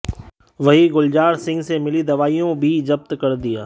वहीं गुलजार सिंह से मिली दवाइयों भी जब्त कर लिया